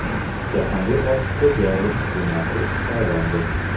Jahongir Ortiqxo‘jayev senator etib saylandi.